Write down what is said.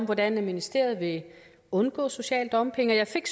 hvordan ministeriet vil undgå social dumping og jeg fik